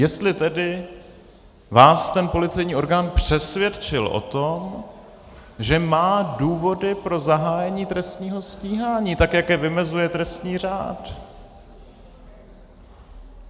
Jestli tedy vás ten policejní orgán přesvědčil o tom, že má důvody pro zahájení trestního stíhání, tak jak je vymezuje trestní řád.